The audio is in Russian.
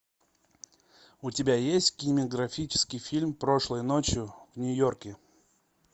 у тебя есть кинематографический фильм прошлой ночью в нью йорке